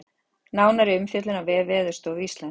Nánari umfjöllun á vef Veðurstofu Íslands